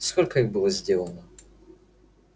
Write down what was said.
сколько их было сделано